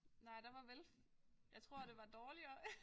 Nej der var vel jeg tror det var dårligere